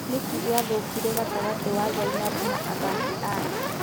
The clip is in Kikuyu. Nĩkĩĩ gĩathũkire gatagatĩ wa Zainabu na athaki ake ?